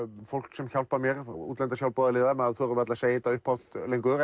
fólk sem hjálpar mér útlenda sjálfboðaliða maður þorir varla að segja þetta upphátt lengur